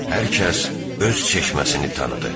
Hər kəs öz çeşməsini tanıdı.